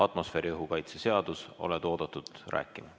Atmosfääriõhu kaitse seadus, oled oodatud rääkima.